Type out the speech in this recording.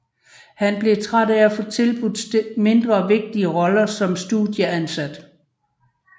Han blev træt af at få tilbudt mindre vigtige roller som studieansat